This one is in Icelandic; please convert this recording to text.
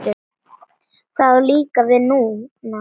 Það á líka við núna.